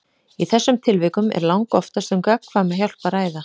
Í þessum tilvikum er langoftast um gagnkvæma hjálp að ræða.